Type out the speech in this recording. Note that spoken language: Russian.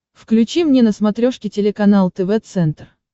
включи мне на смотрешке телеканал тв центр